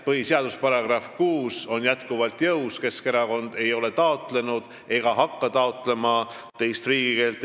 Põhiseaduse § 6 on jätkuvalt jõus, Keskerakond ei ole taotlenud ega hakka taotlema teist riigikeelt.